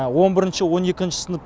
он бірінші он екінші сынып